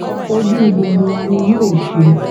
ojú gbogbo wa náà ni yóò ṣe